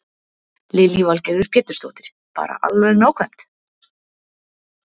Lillý Valgerður Pétursdóttir: Bara alveg nákvæmt?